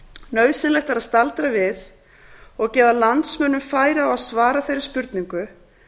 nauðsynlegt er að staldra við og gefa landsmönnum færi á að svara þeirri spurningu